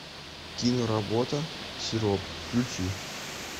киноработа сироп включи